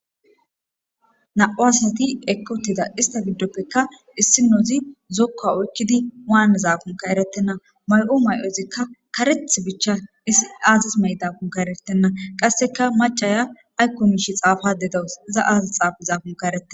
Na'o asati ekotida ista giddoppeka issinozi zokka oykkidi waan zaafunka erettenna mayo mayozikka kareth bicha aasis mey dafun ka eretenna qasseka macaya aykkonmishi xaafa dedas za aazis xaafu zaafunka ereten.